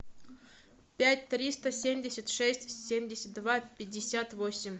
пять триста семьдесят шесть семьдесят два пятьдесят восемь